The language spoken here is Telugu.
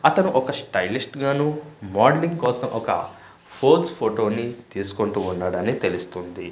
అతను ఒక స్టైలిస్ట్ గాను మోడలింగ్ కోసం ఒక ఫోజ్ ఫోటోని తీసుకుంటూ ఉండాడని తెలుస్తుంది.